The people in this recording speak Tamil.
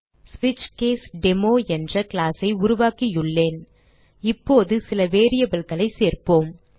சுவிட்ச்கேஸ்டுமோ என்ற class ஐ உருவாக்கியுள்ளேன் இப்போது சில variableகளைச் சேர்ப்போம்